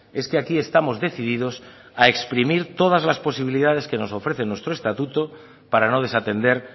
es que aquí estamos decididos a exprimir todas las posibilidades que nos ofrece nuestro estatuto para no desatender